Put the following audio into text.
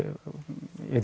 ég